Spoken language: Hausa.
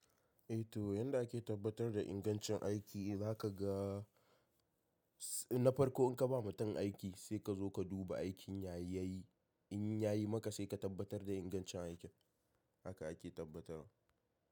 Eh to yanda ake tabbatar da ingancin aiki na ka ga na farko in ka ba mutum aiki sai ka zo ka duba aikin ya yi, in ya yi maka sai ka tabbatar da ingancin aikin. Haka ake tabbatarwa.